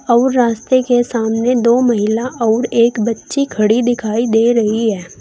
और रास्ते के सामने दो महिला और एक बच्ची खड़ी दिखाई दे रही है।